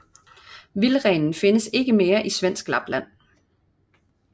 Vildrenen findes ikke mere i svensk Lapland